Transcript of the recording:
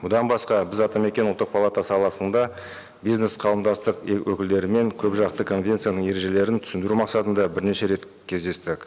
бұдан басқа біз атамекен ұлттық палата саласында бизнес қауымдастық өкілдерімен көпжақты конвенцияның ережелерін түсіндіру мақсатында бірнеше рет кездестік